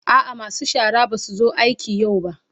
A'a masu shara ba su zo aiki yau ba.